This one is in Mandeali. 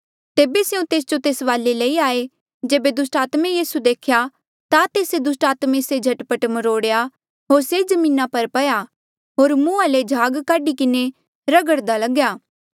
तेबे स्यों तेस जो तेस वाले लई आये जेबे दुस्टात्मे यीसू देख्या ता तेस्से दुस्टात्मे से झट पट मरोड़ेया होर से जमीना पर पया होर मुहां ले झाग काढी किन्हें रघड़धा लग्या